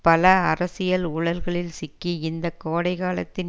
பல அரசியல் ஊழல்களில் சிக்கி இந்த கோடைகாலத்தின்